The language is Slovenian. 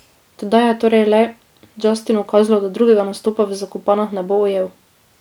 Tedaj je torej le Justinu kazalo, da drugega nastopa v Zakopanah ne bo ujel.